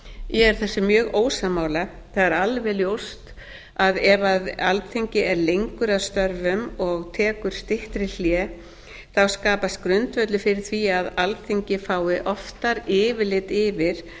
rætt ég er þessu mjög ósammála það er alveg ljóst að ef alþingi er lengur að störfum og tekur styttri hlé skapast grundvöllur fyrir því að alþingi fái oftar yfirlit yfir